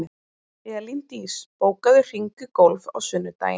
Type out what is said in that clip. Elíndís, bókaðu hring í golf á sunnudaginn.